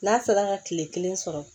N'a sera ka kile kelen sɔrɔ